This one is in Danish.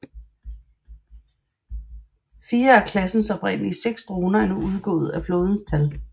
Fire af klassens oprindelige seks droner er nu udgået af flådens tal